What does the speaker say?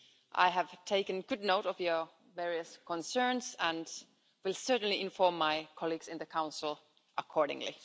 I have taken good note of your various concerns and will certainly inform my colleagues in the Council accordingly.